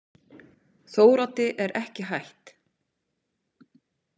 Þóroddi er ekki hætt.